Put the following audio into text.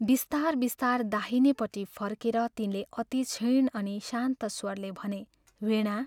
बिस्तार बिस्तार दाहिनेपट्टि फर्केर तिनले अति क्षीण अनि शान्त स्वरले भने, "वीणा!